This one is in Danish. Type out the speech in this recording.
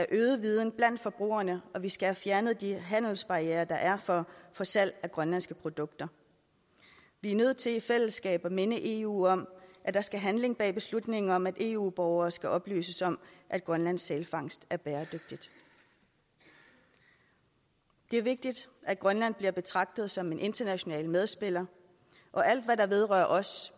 øget viden blandt forbrugerne og vi skal have fjernet de handelsbarrierer der er for salg af grønlandske produkter vi er nødt til i fællesskab at minde eu om at der skal handling bag beslutningen om at eu borgere skal oplyses om at grønlands sælfangst er bæredygtig det er vigtigt at grønland bliver betragtet som en international medspiller og alt hvad der vedrører os